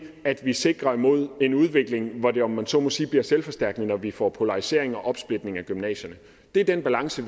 at vi sikrer mod en udvikling hvor det om man så må sige bliver selvforstærkende når vi får polariseringen og opsplitning af gymnasierne det er den balance